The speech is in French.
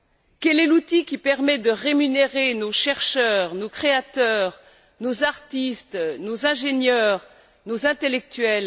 Quel est l'outil qui permet de rémunérer nos chercheurs, nos créateurs, nos artistes, nos ingénieurs, nos intellectuels?